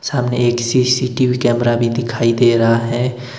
सामने एक CCTV camera भी दिखाई दे रहा है।